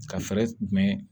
Ka fɛɛrɛ jumɛn